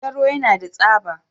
Gero yana da tsaba.